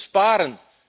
Besparen.